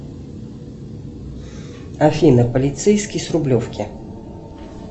афина полицейский с рублевки